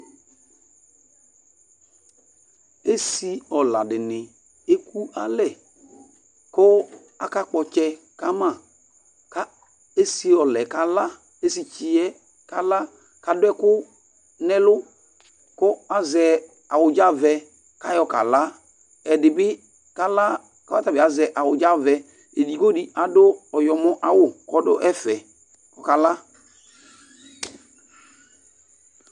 Esɩ ɔla dɩnɩ ekʋ alɛ, kʋ akakpɔ itsɛ kama, kʋ esɩtsɩ yɛ kala kʋ adʋ ɛkʋ nʋ ɛlʋ kʋ azɛ awʋdzavɛ, kʋ ayɔ kala. Ɛdɩbɩ kala kʋ ɔtabɩ azɛ awʋdzavɛ, edigbo dɩ adʋ ɔyɔmɔ awʋ nʋ ɔdʋ ɛfɛ kʋ ɔkala.